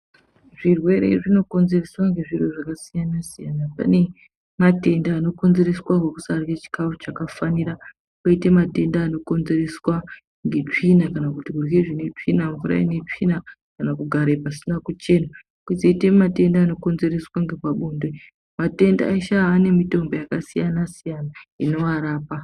Zvirwere zvinokonzereswa ngezviro zvakasiyana-siyana, pane matenda anokonzereswa ngekusarye chikafu chakafanina. Koite matenda anokonzereswa ngetsvina kana kuti kurye zvine tsvina mvura inetsvina kana kugare pasina kuchena. Kozoite matenda anokonzereswa ngepabonde matenda eshe ane mitombo yakasiyana-siyana anovarapa.